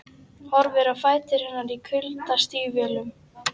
Horfir á fætur hennar í kuldastígvélum.